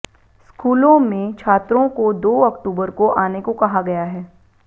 स्कूलों में छात्रों को दो अक्टूबर को आने को कहा गया है